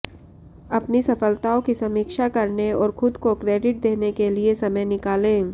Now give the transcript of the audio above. अपनी सफलताओं की समीक्षा करने और खुद को क्रेडिट देने के लिए समय निकालें